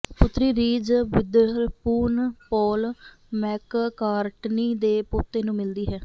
ਪੁਤਰੀ Reese Witherspoon Paul McCartney ਦੇ ਪੋਤੇ ਨੂੰ ਮਿਲਦੀ ਹੈ